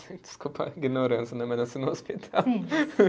Desculpa a ignorância né, mas nasci no hospital.